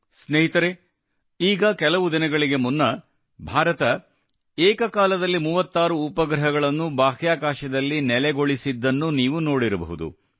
ಸ್ನೇಹಿತರೇ ಈಗ ಕೆಲವು ದಿನಗಳಿಗೆ ಮುನ್ನ ಭಾರತ ಏಕ ಕಾಲದಲ್ಲಿ 36 ಉಪಗ್ರಹಗಳನ್ನು ಬಾಹ್ಯಾಕಾಶದಲ್ಲಿ ನೆಲೆಗೊಳಿಸಿದನ್ನು ನೀವು ನೋಡಿರಬಹುದು